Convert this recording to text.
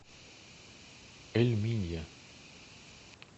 эль минья